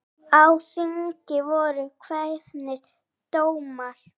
Á þingi voru kveðnir dómar.